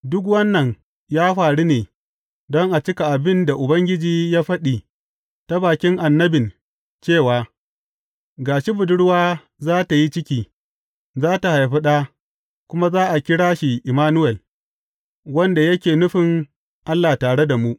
Duk wannan ya faru ne, don a cika abin da Ubangiji ya faɗi ta bakin annabin cewa, Ga shi budurwa za tă yi ciki, za tă haifi ɗa, kuma za a kira shi Immanuwel wanda yake nufin Allah tare da mu.